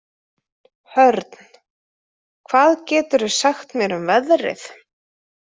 Hörn, hvað geturðu sagt mér um veðrið?